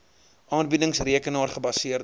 aanbiedings rekenaar gebaseerde